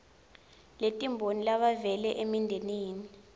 letimbili labavela emindenini